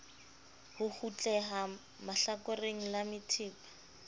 ho kgutleha hlakoreng la methepa